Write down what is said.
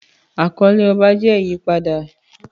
Àkọlé ọba jẹ́ ìyípadà.